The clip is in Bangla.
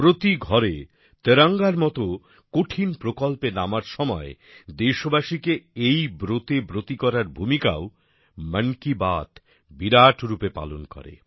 প্রতি ঘরে তেরঙ্গার মত কঠিন প্রকল্পে নামার সময় দেশবাসীকে এই ব্রতে ব্রতী করার ভূমিকাও মন কি বাত বিরাট রূপে পালন করে